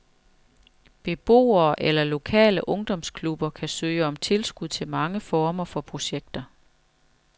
Beboere eller lokale ungdomsklubber kan søge om tilskud til mange former for projekter.